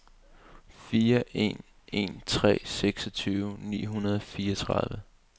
fire en en tre seksogtyve ni hundrede og fireogtredive